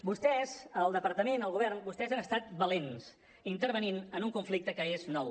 vostès el departament el govern vostès han estat valents intervenint en un conflicte que és nou